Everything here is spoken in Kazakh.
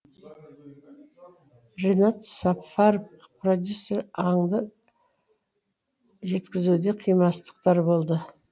ринат сафаров продюсер аңды жеткізуде қимастықтар болды